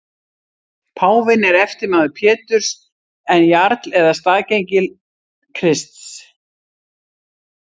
Páfinn er eftirmaður Péturs en jarl eða staðgengill Krists.